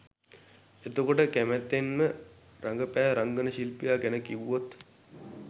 එතකොට කැමැත්තෙන්ම රඟපෑ රංගන ශිල්පියා ගැන කිව්වොත්?